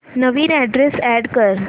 नवीन address add कर